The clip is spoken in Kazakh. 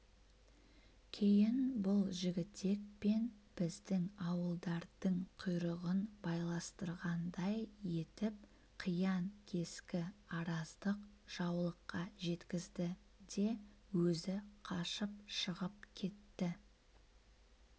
кейін бұл жігітек пен біздің ауылдардың құйрығын байластырғандай етіп қиян-кескі араздық жаулыққа жеткізді де өзі қашып шығып кетті